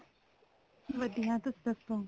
ਵਧੀਆ ਤੁਸੀਂ ਦੱਸੋ